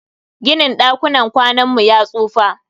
Ginin dakunan kwanan mu ya tsufa.